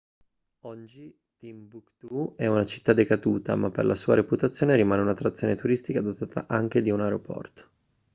oggi timbuktu è una città decaduta ma per la sua reputazione rimane un'attrazione turistica dotata anche di un aeroporto